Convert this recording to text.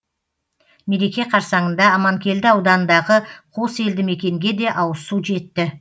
мереке қарсаңында аманкелді ауданындағы қос елді мекенге де ауызсу жетті